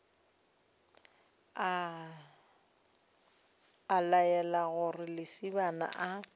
a laela gore lesibana a